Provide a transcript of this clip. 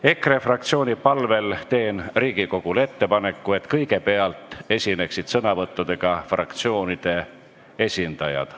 EKRE fraktsiooni palvel teen Riigikogule ettepaneku, et kõigepealt esineksid sõnavõttudega fraktsioonide esindajad.